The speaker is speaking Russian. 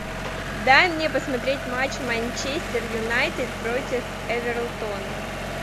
дай мне посмотреть матч манчестер юнайтед против эвертона